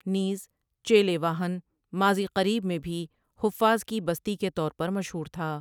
نیز چیلے واہن ماضی قریب میں بھی حفاظ کی بستی کے طور پر مشہور تھا ۔